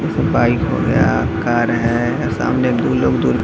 एकठो बाइक हो गया कार है सामने दू लोग।